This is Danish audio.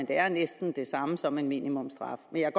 det er næsten det samme som en minimumsstraf men jeg